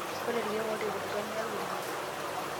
ore ilkeek oo telekutwa niyau ene